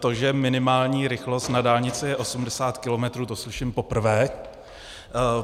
To, že minimální rychlost na dálnici je 80 kilometrů, to slyším poprvé.